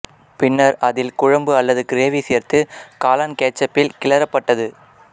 பின்னர் அதில் குழம்பு அல்லது கிரேவி சேர்த்து காளான் கேட்சப்பில் கிளறப்பட்டது